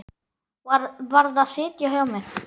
Varð að sitja á mér.